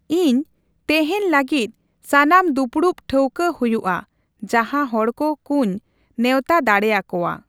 ᱤᱧ ᱛᱮᱦᱮᱧ ᱞᱟᱹᱜᱤᱫ ᱥᱟᱱᱟᱢ ᱫᱩᱯᱩᱲᱩᱵ ᱴᱷᱟᱹᱣᱠᱟᱹ ᱦᱭᱭᱩᱜᱼᱟ ᱡᱟᱦᱟᱸ ᱦᱚᱲᱠᱚ ᱠᱩᱧ ᱱᱮᱣᱛᱟ ᱫᱟᱲᱮᱭᱟᱠᱚᱣᱟ᱾